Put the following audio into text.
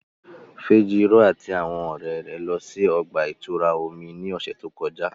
Fejiro ati awọn ọrẹ rẹ lọ si ọgba-ìturá omi ni ọsẹ to kọja.